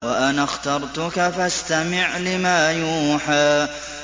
وَأَنَا اخْتَرْتُكَ فَاسْتَمِعْ لِمَا يُوحَىٰ